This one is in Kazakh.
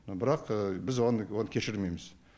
но бірақ біз оны кешірмейміз